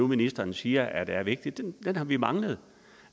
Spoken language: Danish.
ministeren siger er vigtig har vi manglet